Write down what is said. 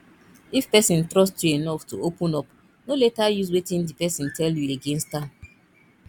if person trust you enough to open up no later use wetin di person tell you against am